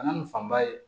Kana nin fanba ye